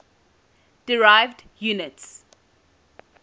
derived units